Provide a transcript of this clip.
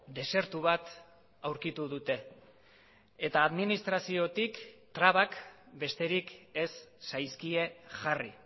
desertu bat aurkitu dute eta administraziotik trabak besterik ez zaizkie jarri